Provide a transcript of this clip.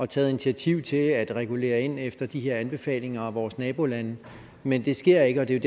taget initiativ til at regulere ind efter de her anbefalinger og vores nabolande men det sker ikke og det er